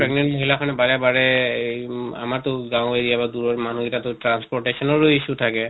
pregnant মহিলা বাৰে বাৰে এহ উম আমাৰ টো গাওঁ area বা দূৰৰ মানুহ গিতা তʼ transportation ও issue থাকে